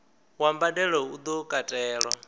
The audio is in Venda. wa mbadelo u do katelwa